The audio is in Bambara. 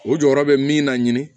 O jɔyɔrɔ bɛ min na ɲini